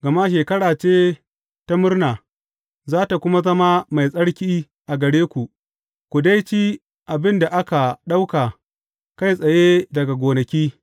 Gama shekara ce ta murna, za tă kuma zama mai tsarki a gare ku, ku dai ci abin da aka ɗauka kai tsaye daga gonaki.